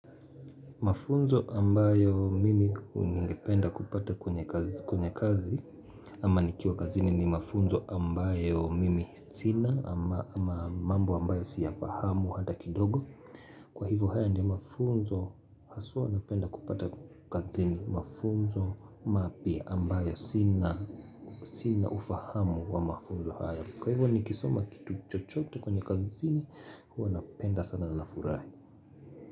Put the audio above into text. Mafunzo ambayo mimi ningependa kupata kwenye kazi ama nikiwa kazini ni mafunzo ambayo mimi sina ama mambo ambayo siyafahamu hata kidogo. Kwa hivyo haya ndio mafunzo haswa napenda kupata kazini, mafunzo mapya ambayo sina ufahamu wa mafunzo haya Kwa hivyo nikisoma kitu chochote kwenye kazini huwa napenda sana na ninafurahi.